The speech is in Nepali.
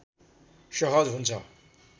सहज हुन्छ